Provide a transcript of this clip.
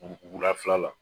U bugu la fila la.